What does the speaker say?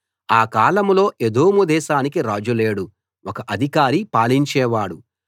ఆ కాలంలో ఎదోము దేశానికి రాజు లేడు ఒక అధికారి పాలించేవాడు